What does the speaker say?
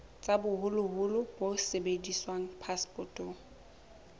tsa boholo bo sebediswang phasepotong